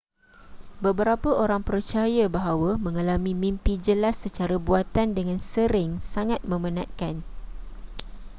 beberapa orang percaya bahawa mengalami mimpi jelas secara buatan dengan sering sangat memenatkan